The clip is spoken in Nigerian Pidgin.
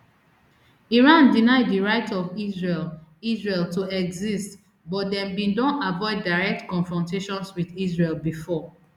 iran deny di right of israel israel to exist but dem bin don avoid direct confrontations wit israel bifor